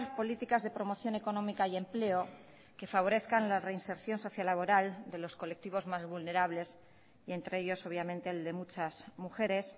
políticas de promoción económica y empleo que favorezcan la reinserción sociolaboral de los colectivos más vulnerables y entre ellos obviamente el de muchas mujeres